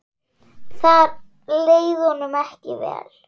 Þar leið honum ekki vel.